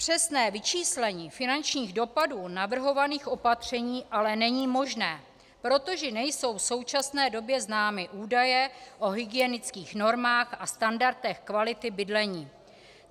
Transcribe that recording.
Přesné vyčíslení finančních dopadů navrhovaných opatření ale není možné, protože nejsou v současné době známy údaje o hygienických normách a standardech kvality bydlení.